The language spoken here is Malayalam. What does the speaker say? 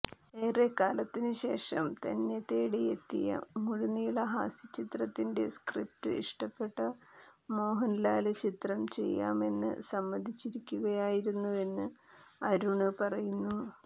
ഏറെക്കാലത്തിന് ശേഷം തന്നെത്തേടിയെത്തിയ മുഴുനീള ഹാസ്യ ചിത്രത്തിന്റെ സ്ക്രിപ്റ്റ് ഇഷ്ടപ്പെട്ട മോഹന്ലാല് ചിത്രം ചെയ്യാമെന്ന് സമ്മതിക്കുകയായിരുന്നുവെന്ന് അരുണ് പറയുന്നു